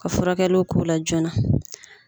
Ka furakɛliw k'o la joona.